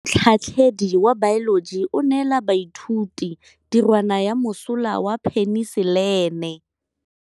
Motlhatlhaledi wa baeloji o neela baithuti tirwana ya mosola wa peniselene.